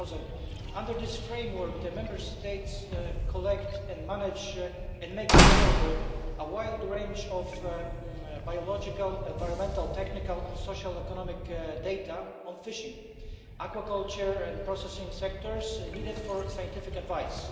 2000. Under this framework, the Member States collect, manage and make available a wide range of biological, environmental, technical and social economic data on fishing, aquaculture and processing sectors needed for scientific advice.